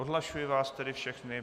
Odhlašuji vás tedy všechny.